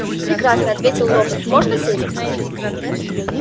прекрасно ответил робот можно сесть